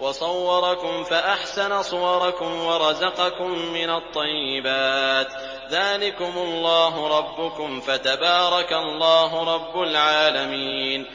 وَصَوَّرَكُمْ فَأَحْسَنَ صُوَرَكُمْ وَرَزَقَكُم مِّنَ الطَّيِّبَاتِ ۚ ذَٰلِكُمُ اللَّهُ رَبُّكُمْ ۖ فَتَبَارَكَ اللَّهُ رَبُّ الْعَالَمِينَ